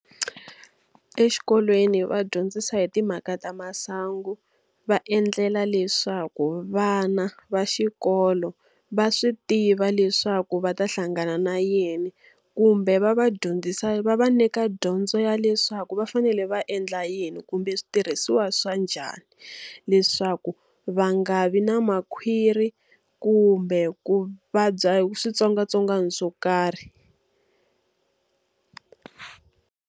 Exikolweni va dyondzisa hi timhaka ta masangu, va endlela leswaku vana va xikolo va swi tiva leswaku va ta hlangana na yini. Kumbe va va dyondzisa va va nyika dyondzo ya leswaku va fanele va endla yini kumbe switirhisiwa swa njhani, leswaku va nga vi na makhwiri kumbe ku vabya switsongwatsongwana swo karhi.